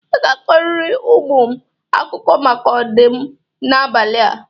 Ị ga-akọrọ ụmụ m akụkọ maka ọdụm n'abalị a.